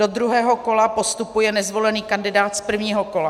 Do druhého kola postupuje nezvolený kandidát z prvního kola.